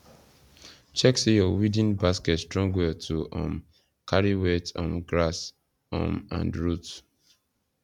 check say your weeding basket strong well to um carry wet um grass um and root